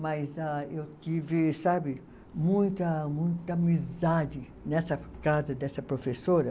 Mas ah, eu tive sabe, muita muita amizade nessa casa dessa professora.